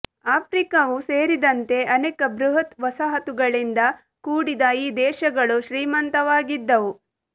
ಆಫ್ರಿಕಾವೂ ಸೇರಿದಂತೆ ಅನೇಕ ಬೃಹತ್ ವಸಾಹತುಗಳಿಂದ ಕೂಡಿದ ಈ ದೇಶಗಳು ಶ್ರೀಮಂತವಾಗಿದ್ದವು